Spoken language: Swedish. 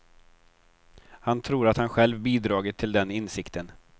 Han tror att han själv bidragit till den insikten.